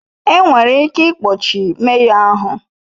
Enwere ike ikpọchi meyọ, ahụ